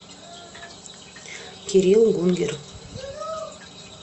кирилл гунгер